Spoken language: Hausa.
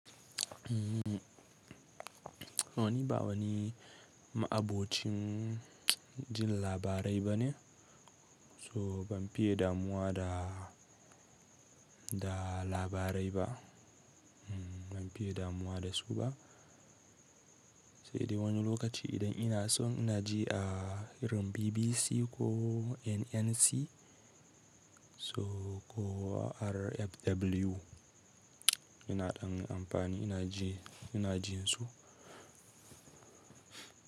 Wani ba wani ma'abocin jin labarai bane, so ban fiye damuwa da, da labarai ba. Ban fiye damuwa da su ba. Sai dai wani lokaci idan ina so ina ji a irin BBC ko NNC so ko RFW ina dan amfani ina ji, ina jin su.